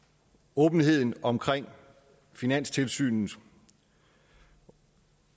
åbenheden om finanstilsynet